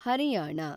Haryana